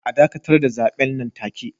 A dakatar da zaben nan take